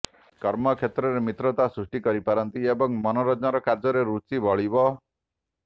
କର୍ମ କ୍ଷେତ୍ରରେ ମିତ୍ରତା ସୃଷ୍ଟି କରିପାରନ୍ତି ଏବଂ ମନୋରଞ୍ଜନ କାର୍ଯ୍ୟରେ ରୁଚି ବଳିବ